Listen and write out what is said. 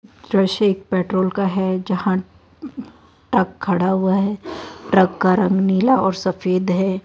दृश्य एक पेट्रोल का है जहां ट्रक खड़ा हुआ है ट्रक का रंग नीला और सफेद है।